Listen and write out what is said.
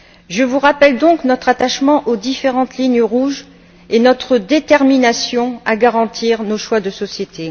Je vous rappelle donc notre attachement aux différentes lignes rouges et notre détermination à garantir nos choix de société.